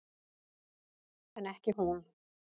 En ekki hún.